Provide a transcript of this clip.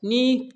Ni